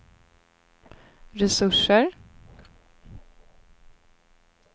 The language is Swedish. resurser